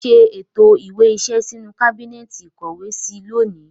Ṣé ètò ìwé iṣẹ́ sínú kábínẹ́ẹ̀tì ìkówèé sí lónìí